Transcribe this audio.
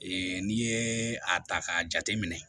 n'i ye a ta k'a jate minɛ